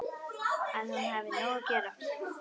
Að hún hafi nóg að gera.